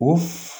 O f